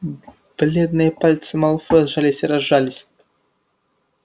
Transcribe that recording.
бледные пальцы малфоя сжались и разжались